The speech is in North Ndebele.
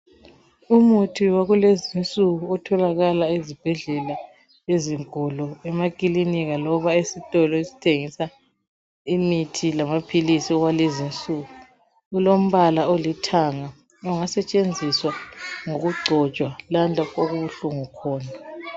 Umuthi wakulezi insuku otholakala ezibhedlela ezinkulu emakilinika loba esitolo esithengisa imithi lamaphilis kwalezi insuku. Ulombala olithanga, ungasetshenziswa ngokugcotshwa lalapho okubuhlungu khona.